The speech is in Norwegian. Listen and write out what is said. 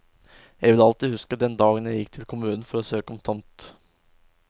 Jeg vil alltid huske den dagen jeg gikk til kommunen for å søke om tomt.